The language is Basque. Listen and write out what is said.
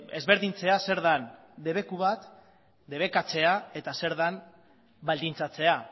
ezberdintzea zer den debeku bat debekatzea eta zer den baldintzatzea